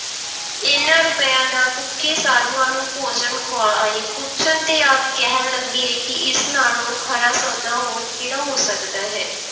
ਇਹਨਾਂ ਰੁਪਇਆਂ ਦਾ ਭੁੱਖੇ ਸਾਧੂਆਂ ਨੂੰ ਭੋਜਨ ਖਵਾ ਆਏ, ਪੁੱਛਣ ਤੇ ਆਪ ਕਹਿਣ ਲੱਗੇ ਕਿ ਇਸ ਨਾਲੋਂ ਖਰਾ ਸੌਦਾ ਹੋਰ ਕਿਹੜਾ ਹੋ ਸਕਦਾ ਹੈ।